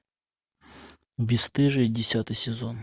бесстыжие десятый сезон